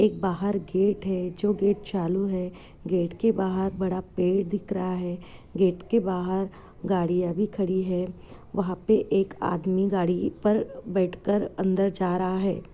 एक बाहर गेट है जो गेट चालू है गेट के बाहर बड़ा पेड़ दिख रहा है गेट के बाहर गाडियाँ भी खड़ी है वहाँ पर एक आदमी गाड़ी पर बैठ कर अंदर जा रहा है।